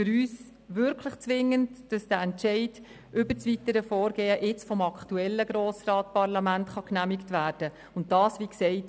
Für uns ist es zwingend, dass der aktuelle Grosse Rat den Entscheid über das weitere Vorgehen fällt.